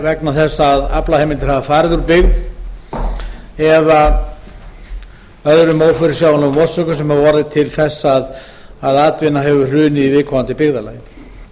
vegna þess að aflaheimildir hafa farið úr byggð eða öðrum ófyrirsjáanlegum orsökum sem hafa orðið til þess að atvinna hefur hrunið í viðkomandi byggðarlagi